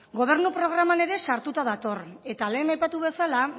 gobernu programan ere sartuta dator eta lehen aipatu bezala